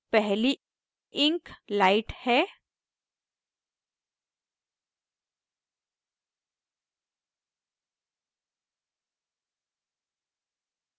पहली ink light है